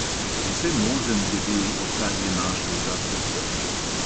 Vsemožen je bil, odkar je našel ta ceptec.